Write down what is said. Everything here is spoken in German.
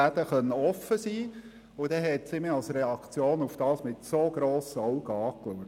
Als Reaktion hat sie mich mit so grossen Augen angeschaut.